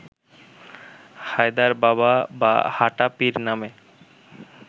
হায়দার বাবা বা হাঁটা পীর নামে